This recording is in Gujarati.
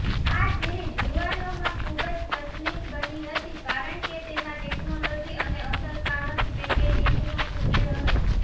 આ સિરિઝ યુવાનોમાં ખુબજ પ્રચલિત બની હતી કારણકે તેમાં ટેકનોલોજી અને અસરકારક પેકેજિંગનો સુમેળ હતો